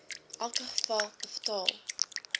elke geval betaal